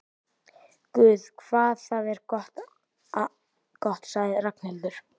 Guð hvað það er gott sagði Ragnhildur.